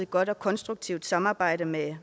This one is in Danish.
godt og konstruktivt samarbejde med